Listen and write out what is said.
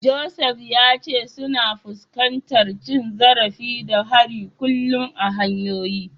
Joseph ya ce suna fuskantar cin zarafi da hari kullum a hanyoyi.